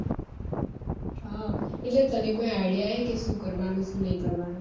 હા એટલે તને idea હે શું કરવાનું શું નઈ કરવાનું